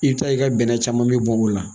I bɛ taa ye i ka bɛnɛ caman bɛ bɔ o la